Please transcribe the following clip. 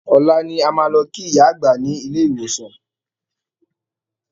Ọ̀la ni a máa lọ kí ìyá àgbá ni ilé ìwòsàn